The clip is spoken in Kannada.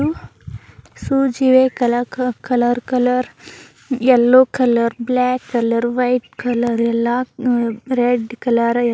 ಶೂಸ್ ಇವೆ. Colour colour colour colour yellow colour black colour white colour ಎಲ್ಲಾ ರೆಡ್ ಕಲರ್ --